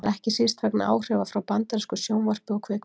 Það er ekki síst vegna áhrifa frá bandarísku sjónvarpi og kvikmyndum.